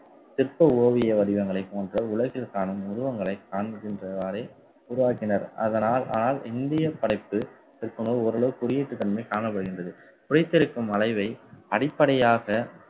சிற்ப ஓவிய வடிவங்களைப் போன்ற உலகில் காணும் உருவங்களை காண்கின்றவாரே உருவாக்கினர். அதனால் ஆல்~ இந்திய புடைப்பு சிற்பங்கள் ஓரளவுக்கு குடியேற்ற தன்மை காணப்படுகின்றது. புடைத்திருக்கும் அளவை அடிப்படையாக